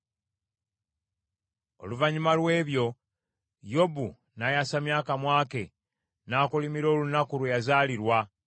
Oluvannyuma lw’ebyo, Yobu n’ayasamya akamwa ke n’akolimira olunaku kwe yazaalirwa.